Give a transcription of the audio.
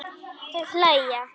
Þau hlæja.